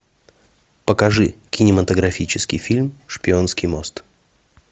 покажи кинематографический фильм шпионский мост